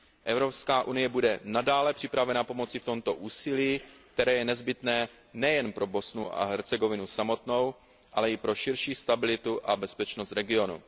EU bude nadále připravena pomoci v tomto úsilí, které je nezbytné nejen pro Bosnu a Hercegovinu samotnou, ale i pro širší stabilitu a bezpečnost regionu.